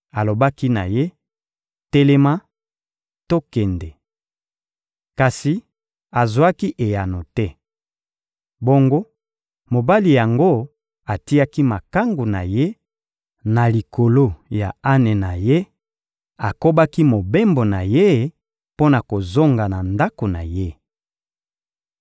Alobaki na ye: «Telema; tokende!» Kasi azwaki eyano te. Bongo mobali yango atiaki makangu na ye na likolo ya ane na ye, akobaki mobembo na ye mpo na kozonga na ndako na ye.